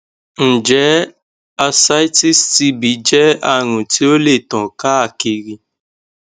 njẹ ascites tb jẹ arun ti o le tan kaakiri